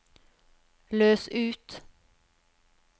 løs ut